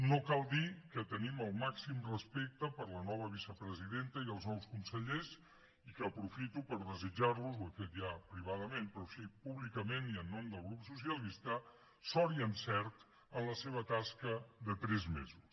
no cal dir que tenim el màxim respecte per la nova vicepresidenta i els nous consellers i que aprofito per desitjar los ho he fet ja privadament però així públicament i en nom del grup socialista sort i encert en la seva tasca de tres mesos